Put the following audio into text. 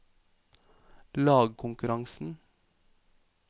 lagkonkurransen